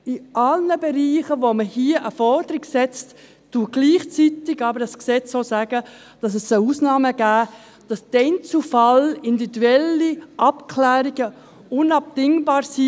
In allen Bereichen, in welchen man hier eine Forderung hat, sagt dieses Gesetz gleichzeitig auch, dass es Ausnahmen geben soll, dass im Einzelfall individuelle Abklärungen unabdingbar sind.